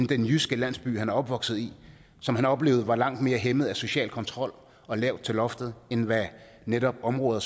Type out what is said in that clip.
den jyske landsby han er opvokset i som han oplevede var langt mere hæmmet af social kontrol og lavt til loftet end hvad netop områder